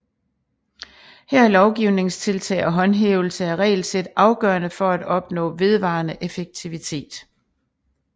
Her er lovgivningstiltag og håndhævelse af regelsæt afgørende for at opnå vedvarende effektivitet